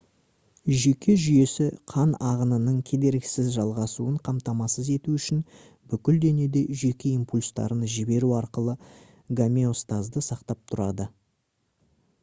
жүйке жүйесі қан ағынының кедергісіз жалғасуын қамтамасыз ету үшін бүкіл денеде жүйке импульстарын жіберу арқылы гомеостазды сақтап тұрады